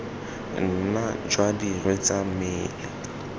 nna jwa dirwe tsa mmele